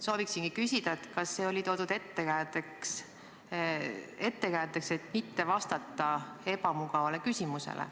Sooviksingi küsida, kas see oli toodud ettekäändeks, et mitte vastata ebamugavale küsimusele.